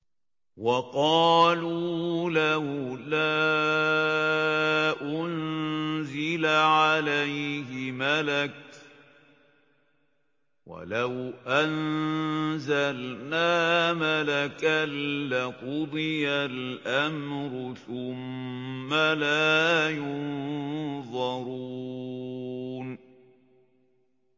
وَقَالُوا لَوْلَا أُنزِلَ عَلَيْهِ مَلَكٌ ۖ وَلَوْ أَنزَلْنَا مَلَكًا لَّقُضِيَ الْأَمْرُ ثُمَّ لَا يُنظَرُونَ